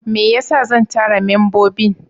Me yasa zan tara membobin?